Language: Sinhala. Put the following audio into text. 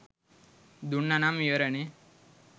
දුන්නනම් ඉවරනෙ.